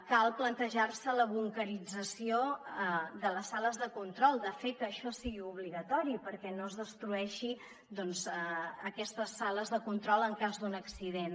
cal plantejar se la bunquerització de les sales de control de fer que això sigui obligatori perquè no es destrueixi aquestes sales de control en cas d’un accident